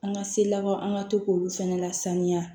An ka selawaw an ka to k'olu fana lasaniya